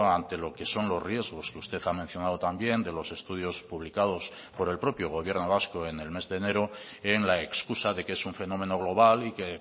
ante lo que son los riesgos que usted ha mencionado también de los estudios publicados por el propio gobierno vasco en el mes de enero en la excusa de que es un fenómeno global y que